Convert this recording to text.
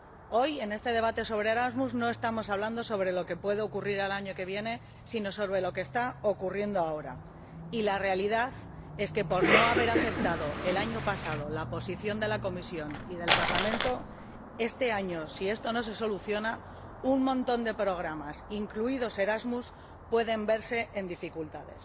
Hoy, en este debate sobre Erasmus, no estamos hablando sobre lo que puede ocurrir el año que viene sino sobre lo que está ocurriendo ahora, y la realidad es que, por no haberse aceptado el año pasado la posición de la Comisión y del Parlamento, este año, si esto no se soluciona, un montón de programas, incluido Erasmus, pueden verse en dificultades.